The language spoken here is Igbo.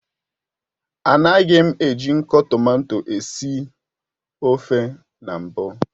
Anagim eji nko tomato esi ofe na mbu